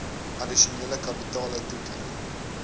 addisionele kapitale toekenning